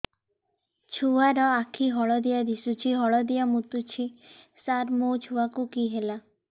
ଛୁଆ ର ଆଖି ହଳଦିଆ ଦିଶୁଛି ହଳଦିଆ ମୁତୁଛି ସାର ମୋ ଛୁଆକୁ କି ହେଲା